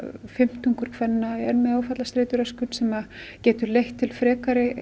fimmtungur kvenna er með áfallastreituröskun sem getur leitt til frekari